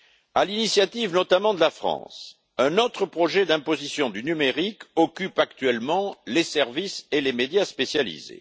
À l'initiative notamment de la France, un autre projet d'imposition du numérique occupe actuellement les services et les médias spécialisés.